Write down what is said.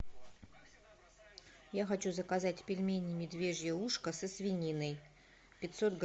я хочу заказать пельмени медвежье ушко со свининой пятьсот грамм